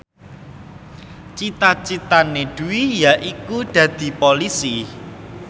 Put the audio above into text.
cita citane Dwi yaiku dadi Polisi